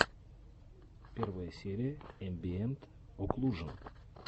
первая серия эмбиэнт оклужен